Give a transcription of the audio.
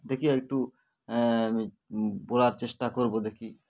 দেখি আরেকটু আ আমি বলার চেষ্টা করবো দেখি